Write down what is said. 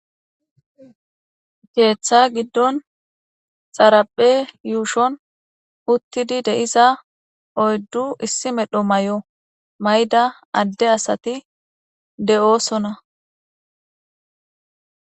keeththa giddon xaraphe yuushon uttidi de7iza oyddu issi medho mayo mayda adde asati de7oosona.